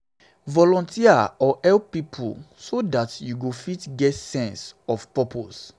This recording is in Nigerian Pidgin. volunteer or help oda pipo so dat you go fit get di sense of purpose sense of purpose